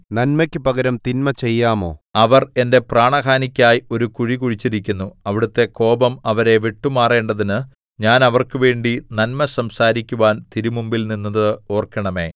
നന്മയ്ക്കു പകരം തിന്മ ചെയ്യാമോ അവർ എന്റെ പ്രാണഹാനിക്കായി ഒരു കുഴി കുഴിച്ചിരിക്കുന്നു അവിടുത്തെ കോപം അവരെ വിട്ടുമാറേണ്ടതിന് ഞാൻ അവർക്കുവേണ്ടി നന്മ സംസാരിക്കുവാൻ തിരുമുമ്പിൽ നിന്നത് ഓർക്കണമേ